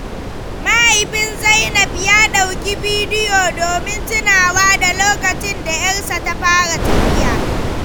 Mahaifin Zainab ya ɗauki bidiyo domin tunawa da lokacin da ‘yarsa ta fara tafiya.